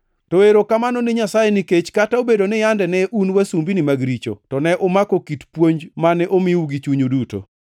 To erokamano ni Nyasaye nikech kata obedo ni yande ne un wasumbini mag richo, to ne umako kit puonj mane omiu gi chunyu duto.